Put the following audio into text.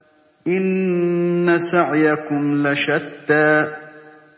إِنَّ سَعْيَكُمْ لَشَتَّىٰ